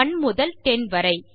1 முதல் 10 வரை